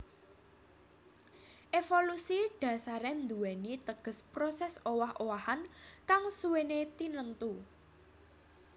Évolusi dhasaré nduwèni teges prosès owah owahan kang suwéné tinentu